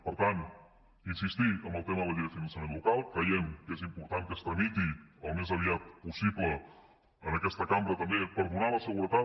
per tant insistir en el tema de la llei del finançament local creiem que és important que es tramiti al més aviat possible en aquesta cambra també per donar la seguretat